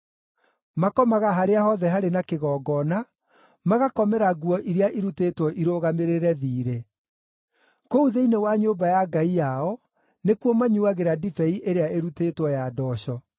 Makomaga harĩa hothe harĩ na kĩgongona, magakomera nguo iria irutĩtwo irũgamĩrĩre thiirĩ. Kũu thĩinĩ wa nyũmba ya ngai yao, nĩkuo manyuuagĩra ndibei ĩrĩa ĩrutĩtwo ya ndooco.